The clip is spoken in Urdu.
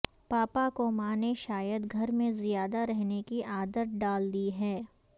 پاپا کو ماں نے شاید گھر میں زیادہ رہنے کی عادت ڈال دی ہے